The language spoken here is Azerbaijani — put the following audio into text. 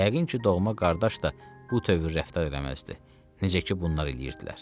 Yəqin ki, doğma qardaş da bu tövr rəftar eləməzdi, necə ki, bunlar eləyirdilər.